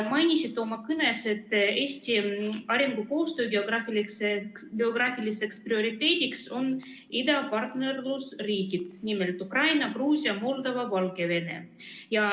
Mainisite oma kõnes, et Eesti arengukoostöö geograafiliseks prioriteediks on idapartnerlusriigid, nimelt Ukraina, Gruusia, Moldova ja Valgevene.